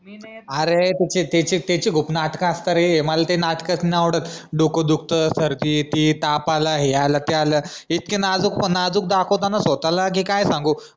अरे त्याचे त्याचे खूप नाटक असतात रे मला त्याचे नाटक नाय आवडत डोकं दुखत सर्दी येति ताप आलाय हे आलाय ते आलाय इतका नाजूक दाखवतो ना स्वतःला कि काय संगहू